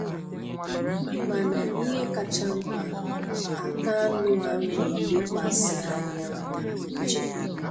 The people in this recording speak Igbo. Mànà ihe kacha mkpa, àkànụ́ a m na-elekwàsị anya bụ njem.